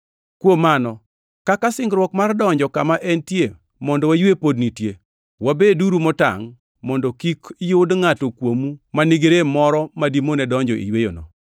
Kuom mano, kaka singruok mar donjo kama entie mondo waywe pod nitie, wabeduru motangʼ mondo kik yud ngʼato kuomu ma nigi rem moro ma dimone donjo e yweyono.